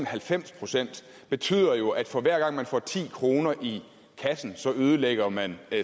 halvfems procent betyder jo at for hver gang man får ti kroner i kassen ødelægger man